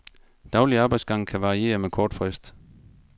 Daglig arbejdsdag kan varieres med kort frist.